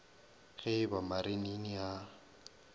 ge e ba marinini a